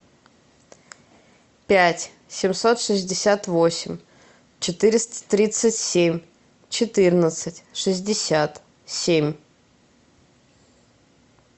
пять семьсот шестьдесят восемь четыреста тридцать семь четырнадцать шестьдесят семь